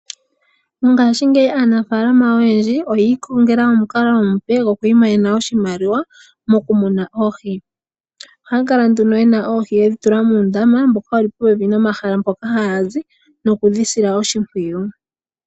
Mongashingeyi aanafaalama oyendji oyi ikongela omukalo omupe goku imonena oshimaliwa mokumuna oohi. Oha ya kala nduno yena oohi yedhi tula muundama mboka wuli popepi nomahala mpoka haya zi nokudhi sila oshimpwiyu.